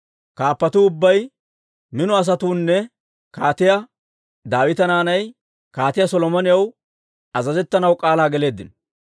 Kaappatuu ubbay, mino asatuunne Kaatiyaa Daawita naanay Kaatiyaa Solomonaw azazettanaw k'aalaa geleeddino.